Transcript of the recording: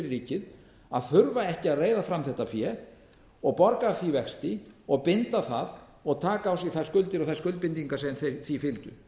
ríkið að þurfa ekki að reiða fram þetta fé og borga af því vexti og binda það og taka á sig þær skuldir og þærskuldbindingar sem því fylgir